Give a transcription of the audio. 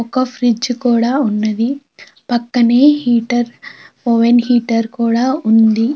ఒక ఫ్రిడ్జ్ కుడా ఉన్నది పక్కనే హీటర్ ఓవెన్ హీటర్ కూడా ఉంది.